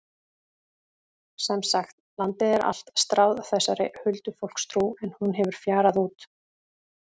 Sem sagt, landið er allt stráð þessari huldufólkstrú en hún hefur fjarað út.